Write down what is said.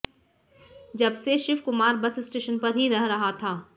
जबसे Shivkumar bus station पर ही रह रहा था